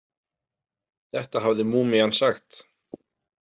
Þetta hafði múmían sagt.